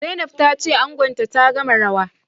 Zainab tace angonta ta gama rawa